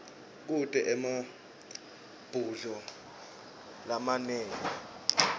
kute emabhudlo lamanengi